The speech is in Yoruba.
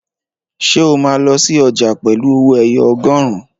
Ṣé o máa lọ sí ọjà pẹ̀lú owó ẹyọ ọgọrun?